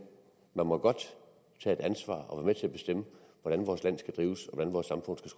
må godt tage et ansvar og være med til at bestemme hvordan vores land skal drives